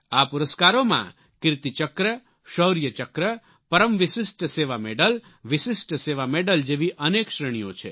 આ પુરસ્કારોમાં Kirti Chakra Shaurya Chakra Param Vishisht Seva Medal Vishisht Seva Medal જેવી અનેક શ્રેણીઓ છે